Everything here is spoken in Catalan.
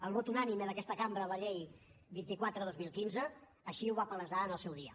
el vot unànime d’aquesta cambra a la llei vint quatre dos mil quinze així ho va palesar en el seu dia